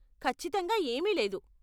ఖచ్చితంగా ఏమీ లేదు.